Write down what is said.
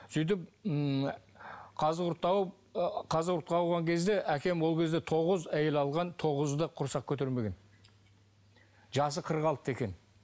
сөйтіп ммм қазығұртты ауып ы қазығұртқа ауған кезде әкем ол кезде тоғыз әйел алған тоғызы да құрсақ көтермеген жасы қырық алтыда екен